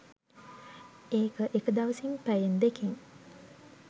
ඒක එක දවසින් පැයෙන් දෙකෙන්